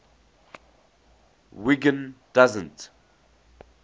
wiggin doesn t